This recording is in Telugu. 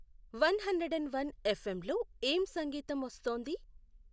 one hundred and one F M లో ఏం సంగీతం వస్తోంది